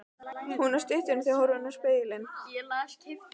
Hún sá stytturnar þegar hún horfði í spegilinn.